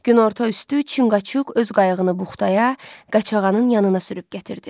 Günorta üstü Çinqaçuk öz qayıqını buxtaya, Qəçağanın yanına sürüb gətirdi.